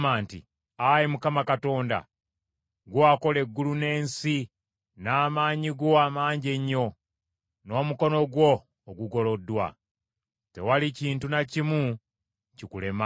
“Ayi Mukama Katonda, ggwe wakola eggulu n’ensi n’amaanyi go amangi ennyo, n’omukono gwo ogugoloddwa. Tewali kintu na kimu kikulema.